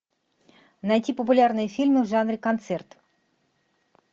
найти популярные фильмы в жанре концерт